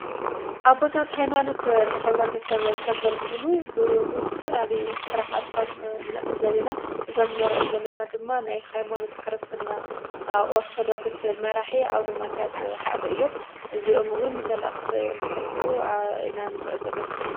ኣዘለና ኃይማኖት ኅብረተ ሰብ ኸገልግሉ ብወስትፈላልዩ ሠራሓቶም ንዕ ዘቢና እዞም ነርኦም ዘለና ድማ ናይ ኃይማኖት ክርስትና ኦርተዶግስ መራሕ ኣውኖማትያስ ሓደ እዮም ዚኦምውን መልእኽቲ እንትሕልፉ ኣኢናንር ዘለና።